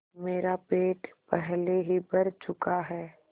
मेरा पेट पहले ही भर चुका है